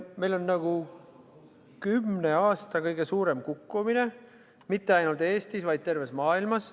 Meil on kümne aasta kõige suurem kukkumine – mitte ainult Eestis, vaid terves maailmas.